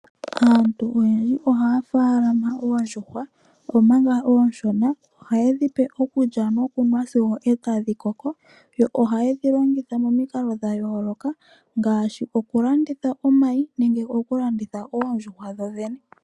Aantu oyendji ohaya faalama oondjuhwa. Manga oonshona ohaye dhi pe okulya nokunwa sigo dha koko. Ohaye dhi longitha momikalo dha yooloka ngaashi okulanditha omayi nenge okulanditha oondjuhwa dhodhene.